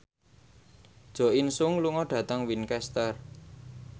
Jo In Sung lunga dhateng Winchester